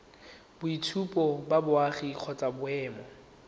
boitshupo ba boagi kgotsa boemo